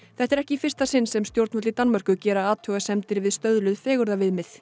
þetta er ekki í fyrsta sinn sem stjórnvöld í Danmörku gera athugasemdir við stöðluð